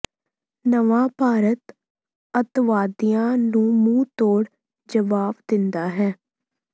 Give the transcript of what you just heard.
ਨਵਾਂ ਭਾਰਤ ਅੱਤਵਾਦੀਆਂ ਨੂੰ ਮੂੰਹ ਤੋਂੜ ਜਵਾਬ ਦਿੰਦਾ ਹੈ